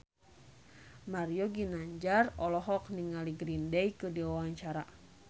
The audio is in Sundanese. Mario Ginanjar olohok ningali Green Day keur diwawancara